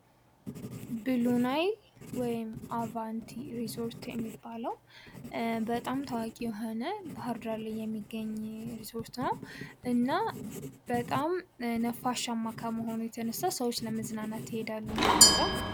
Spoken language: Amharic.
ብሎ ናይል ወይም ደግሞ አቫቲሪዞርት የሚባለው በጣም ታዋቂ የሆነ ባህር ዳር ላይ የሚገኝ ሪዞርት ነው። እና በጣም ነፋሻማ ከመሆን የተነሳ ለመዝናናት ይሄዳሉ ማለት ነው እዛ።